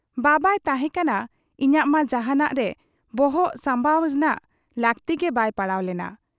ᱵᱟᱵᱟᱭ ᱛᱟᱦᱮᱸ ᱠᱟᱱᱟ, ᱤᱧᱟᱹᱜ ᱢᱟ ᱡᱟᱦᱟᱸᱱᱟᱜ ᱨᱮ ᱵᱚᱦᱚᱜ ᱥᱟᱢᱵᱟᱣ ᱨᱮᱱᱟᱜ ᱞᱟᱹᱠᱛᱤᱜᱮ ᱵᱟᱭ ᱯᱟᱲᱟᱣ ᱞᱮᱱᱟ ᱾